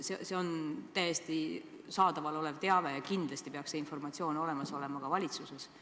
See on täiesti saadaval olev teave ja kindlasti peaks see informatsioon olema ka valitsuses.